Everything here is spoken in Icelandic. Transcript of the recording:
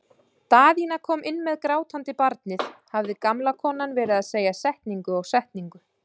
Daðína kom inn með grátandi barnið hafði gamla konan verið að segja setningu og setningu.